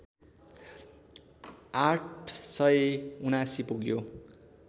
८७९ पुग्यो